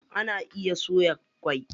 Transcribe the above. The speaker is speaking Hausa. Ana iya soya ƙwai.